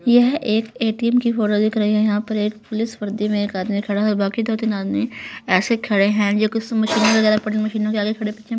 यह एक ए_टी_एम की फोटो दिख रही है यहां पर एक पुलिस वर्दी मे एक आदमी खड़ा है बाकी दो तीन आदमी ऐसे खड़े है जोकि मशीन वगैरा मशीनों के आगे खड़े पीछे--